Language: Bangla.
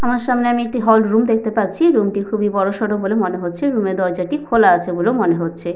আমার সামনে আমি একটি হল রুম দেখতে পাচ্ছি। রুম টি খুবই বড়সড় বলে মনে হচ্ছে। রুম -এর দরজাটি খোলা আছে বলেও মনে হচ্ছে।